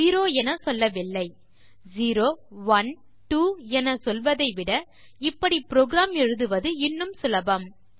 zero என சொல்லவில்லை zero one two என சொல்வதைவிட இப்படி புரோகிராம் எழுதுவது இன்னும் சுலபம்